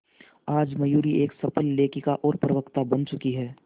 आज मयूरी एक सफल लेखिका और प्रवक्ता बन चुकी है